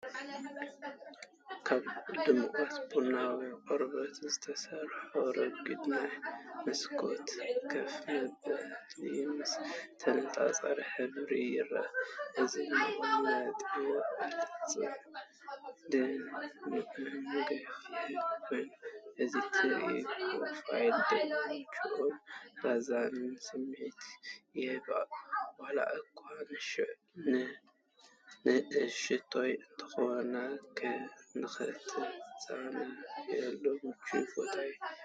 ካብ ድሙቕ ቡናዊ ቆርበት ዝተሰርሐ ረጒድ ናይ መስኮት ኮፍ መበሊ ምስ ተነጻጻሪ ሕብሪ ይርአ። እቲ መቐመጢ ቅልጽም ጽኑዕን ገፊሕን ኮይኑ፡ እቲ ትሑት ፕሮፋይል ድማ ምቹእን ዘዛንን ስምዒት ይህብ። ዋላ እኳ ንእሽቶ እንተኾነ፡ንኽትዛነየሉ ምቹእ ቦታ ይመስል።